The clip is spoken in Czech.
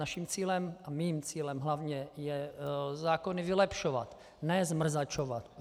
Naším cílem a mým cílem hlavně je zákony vylepšovat, ne zmrzačovat.